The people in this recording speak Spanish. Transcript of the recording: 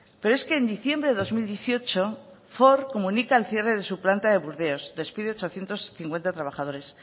pero es que en diciembre del dos mil dieciocho ford comunica el cierre de su planta de burdeos despide ochocientos cincuenta trabajadores